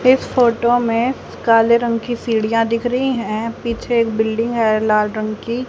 इस फोटो में काले रंग की सीढ़ियां दिख रही है पीछे बिल्डिंग है लाल रंग की--